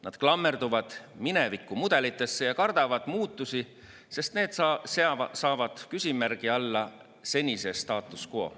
Nad klammerduvad mineviku mudelitesse ja kardavad muutusi, sest need seavad küsimärgi alla senise status quo.